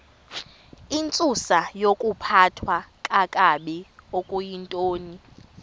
intsusayokuphathwa kakabi okuyintoni